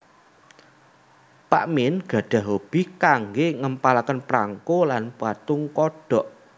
Pak Mien gadhah hobi kanggé ngempalaken prangko lan patung kodhok